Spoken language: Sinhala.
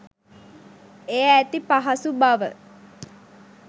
එහි ඇති පහසු බව